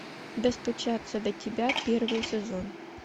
достучаться до тебя первый сезон